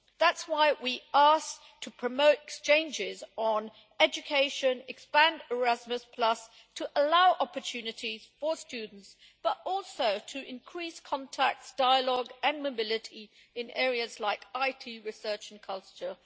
That is why we asked to promote exchanges on education, expand Erasmus to allow opportunities for students, but also to increase contacts, dialogue and mobility in areas like IT, research and culture.